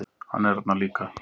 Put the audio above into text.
Hann er þarna líka.